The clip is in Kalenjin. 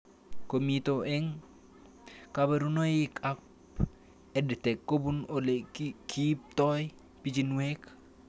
Komito eng' kaparunoik ab EdTech kopun ole kiiptoi pichinwek